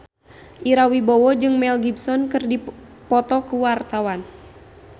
Ira Wibowo jeung Mel Gibson keur dipoto ku wartawan